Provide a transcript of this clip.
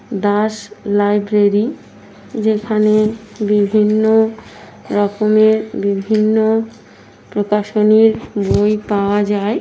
Das library যেখানে-এ বিভিন্ন -ও রকমের বিভিন্ন -ও প্রকাশনীর বই পাওয়া যায়।